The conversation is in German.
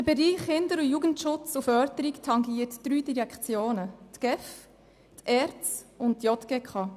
– Der Bereich Kinder- und Jugendschutzförderung tangiert drei Direktionen: die GEF, die ERZ und die JGK.